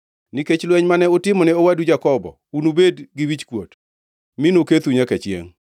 Nikech lweny mane utimone owadu Jakobo unubed gi wichkuot; mi nokethu nyaka chiengʼ.